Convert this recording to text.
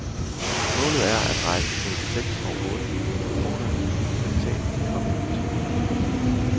Målet er at rejse mellem seks og otte millioner kroner i ny kapital de kommende to måneder.